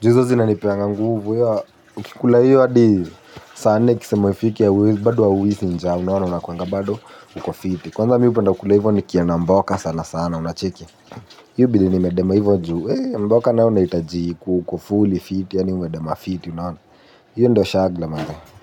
Ju izo zina nipeanga nguvu, uki kula hiyo hadi saane kise mwifiki ya wili, badu wa wisi nja unaona unakuanga bado uko fiti. Kwanza mi upenda kula hivyo ni kia na mboka sana sana unacheki. Yubili ni medema hivyo njuu, eh mboka na hivyo na itaji ku uko fulli fiti ya ni umedema fiti unaona. Yyo ndio shagla manze.